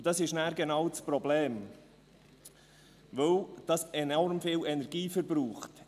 Das ist dann genau das Problem, weil das enorm viel Energie verbraucht.